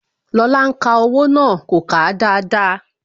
Lóla ń ka owó náà. kò kà á dáadáa